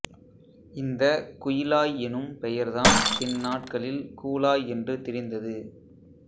இந்தக் குய்லாய் எனும் பெயர்தான் பின்நாட்களில் கூலாய் என்று திரிந்தது